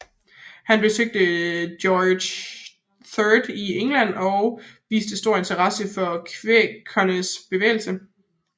Han besøgte George III i England og viste stor interesse for kvækernes bevægelse